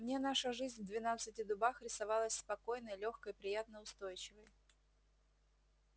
мне наша жизнь в двенадцати дубах рисовалась спокойной лёгкой приятно-устойчивой